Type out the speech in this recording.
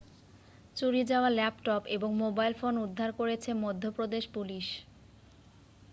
চুরি যাওয়া ল্যাপটপ এবং মোবাইল ফোন উদ্ধার করেছে মধ্যপ্রদেশ পুলিশ